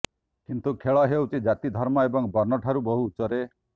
କିନ୍ତୁ ଖେଳ ହେଉଛି ଜାତି ଧର୍ମ ଏବଂ ବର୍ଣ୍ଣଠାରୁ ବହୁ ଉଚ୍ଚରେ